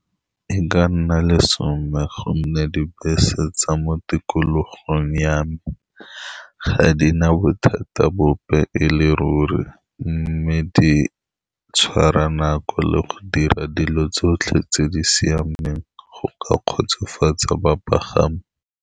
Ka nna lesome, ka gonne dibese tsa mo tikologong ya me ga di na bothata bope e le ruri, mme di tshwara nako le go dira dilo tsotlhe tse di siameng go ka kgotsofatsa bapagami.